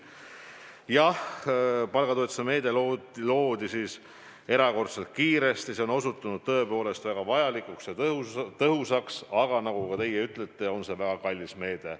Jah, palgatoetuse meede loodi erakordselt kiiresti, see on osutunud tõepoolest väga vajalikuks ja tõhusaks, aga nagu ka teie ütlete, see on väga kallis meede.